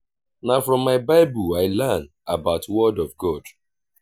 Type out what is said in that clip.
na from my bible i learn about word of god.